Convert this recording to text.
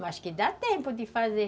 Mas que dá tempo de fazer.